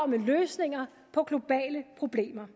løsninger på globale problemer